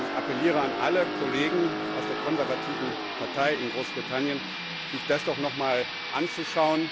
ich appelliere an alle Kollegen aus der konservativen Partei in Großbritannien, sich das doch nochmals anzuschauen.